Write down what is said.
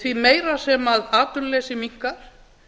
því meira sem atvinnuleysi minnkar